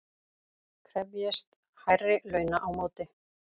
Krefjist hærri launa á móti